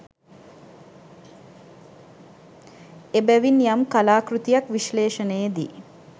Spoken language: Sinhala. එබැවින් යම් කලා කෘතියක් විශ්ලේෂණයේ දී